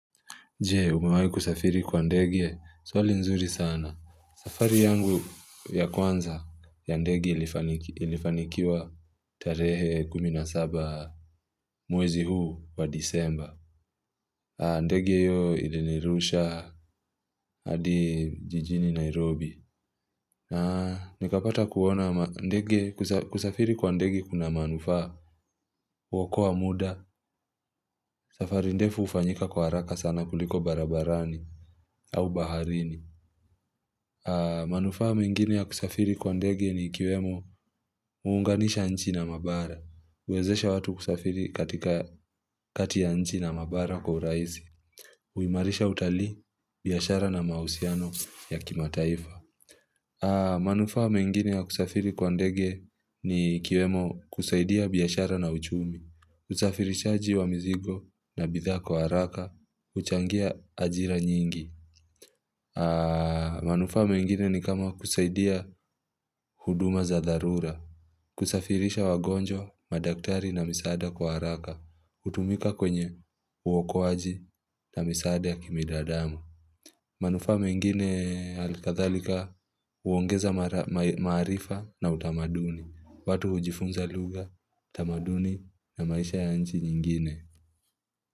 Je, umewahi kusafiri kwa ndege, swali nzuri sana. Safari yangu ya kwanza ya ndege ilifaniki ilifanikiwa tarehe kumi na saba mwezi huu wa disemba. Ndege iyo ilinirusha hadi jijini Nairobi. Nikapata kuona mandege. Kusafiri kwa ndege kuna manufaa, huokoa muda. Safari ndefu hufanyika kwa haraka sana kuliko barabarani au baharini. Manufaa mengine ya kusafiri kwa ndege ni ikiwemo huunganisha nchi na mabara, huwezesha watu kusafiri katika kati ya nchi na mabara kwa urahisi. Huimarisha utali biashara na mahusiano ya kimataifa manufaa mengine ya kusafiri kwa ndege ni ikiwemo kusaidia biashara na uchumi, usafirishaji wa mizigo na bidhaa kwa haraka, huchangia ajira nyingi. Manufaa mengine ni kama kusaidia huduma za dharura kusafirisha wagonjwa, madaktari na misaada kwa haraka hutumika kwenye uokoaji na misaada ya kibinadamu manufaa mengine alikathalika uongeza maarifa na utamaduni. Watu hujifunza lugha, utamaduni na maisha ya nchi nyingine.